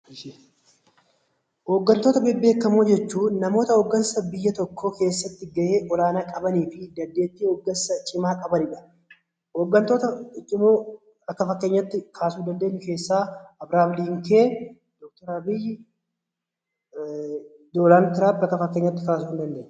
Hoggantoota bebbeekamoo jechuun namoota hoggansa biyya tokkoo keessatti gahee ol-aanaa qabaniifi dandeettii hoggansa cimaa qabaniidha. Hoggantoota bebbekamoo akka fakkeenyaatti kaasuu dandeenyu keessaa Abirihaam Liinken, dooktari Abiyyii, Doonald Tiraamp akka fakkeenyaatti kaasuun ni dandeenya.